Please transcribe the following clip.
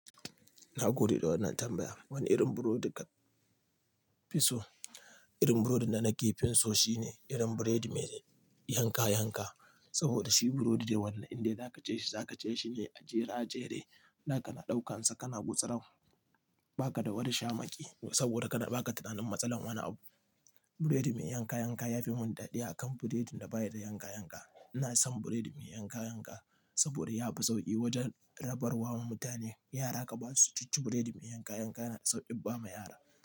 Na gode da wannan tambaya. Wane irin burodi ka fi so? Irin burodin da nake fin so shine irin burodi mai yanka yanka. Saboda shi burodi ne wanda in dai za ka ci shi, za ka ci shi ne a jere a jere. Na kana ɗaukan sa kana gutsuran. Baka da wani shamaki saboda baka tunani matsala wani abu buredi mai yanka yanka ya fi mun daɗi akan buredin da baya da yanka yanka. Ina son biredi mai yanka yanka saboda yafi sauki wanja rabarwa wa mutane. Yara ka ba su cucci burodi mai yanka yanka yana da sauƙi ba ma yara.